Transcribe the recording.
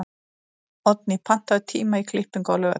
Oddný, pantaðu tíma í klippingu á laugardaginn.